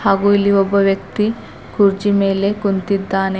ಹಾಗೂ ಇಲ್ಲಿ ಒಬ್ಬ ವ್ಯಕ್ತಿ ಕುರ್ಚಿ ಮೇಲೆ ಕುಂತಿದ್ದಾನೆ.